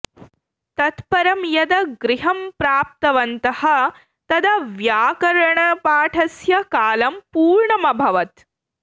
तत् परं यदा गृहं प्रप्तवन्तः तदा व्याकरणपाठस्य कालं पूर्णमभवत्